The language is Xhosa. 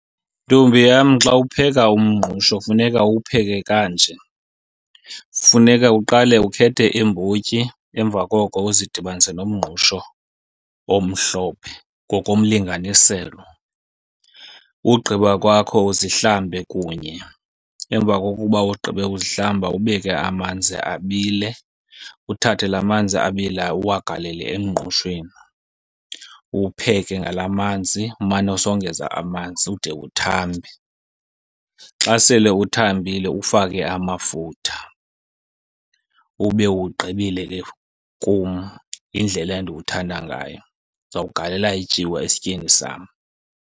Ntombi yam, xa upheka umngqusho funeka uwupheke kanje. Funeka uqale ukhethe iimbotyi, emva koko uzidibanise nomngqusho omhlophe ngokomlinganiselo. Wogqiba kwakho uzihlambe kunye. Emva kokuba ugqibe uzihlamba, ubeke amanzi abile. Uthathe la manzi abilayo uwagalele emngqushweni. Uwupheke ngala manzi, umane usongeza amanzi ude uthambe. Xa sele uthambile ufake amafutha ube uwugqibile ke. Kum yindlela endiwuthanda ngayo. Ndizawugalela ityiwa esityeni sam.